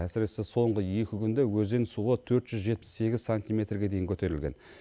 әсіресе соңғы екі күнде өзен суы төрт жүз жетпіс сегіз сантиметрге дейін көтерілген